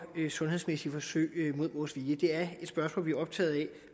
sundhedsmæssige forsøg mod vores vilje det er et spørgsmål vi er optaget af